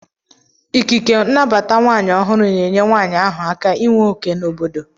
Ikiike nnabata nwanyi ohuru na enye nwanyi ahu aka inwe oke na obodo.